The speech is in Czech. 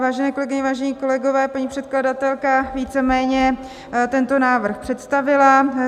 Vážené kolegyně, vážení kolegové, paní předkladatelka víceméně tento návrh představila.